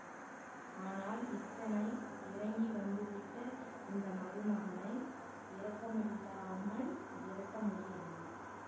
ஆனால் இத்தனை இறங்கி வந்து விட்ட இந்த மருமகனை இரக்கமில்லாமல் விரட்ட முடியவில்லை